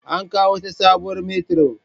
An kawo wata sabuwar metiron